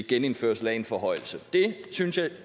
genindførelse af en forhøjelse det synes jeg